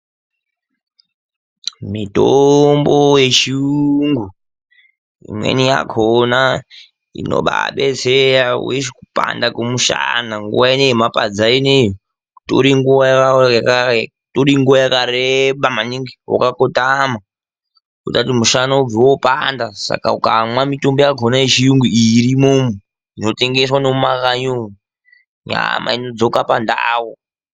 Mitombo yechirungu imweni yakona inobadetsera kupanda kwemishana nguva inoyema padza inguva yakareba maningi ukabva kumunda unobveyo mushana wopanda saka ukamwawo mitombo iyi nyama dzinodzoka pandau.